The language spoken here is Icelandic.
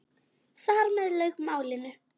Þar með lauk málinu.